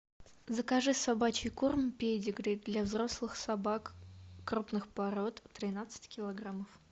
закажи собачий корм педигри для взрослых собак крупных пород тринадцать килограмм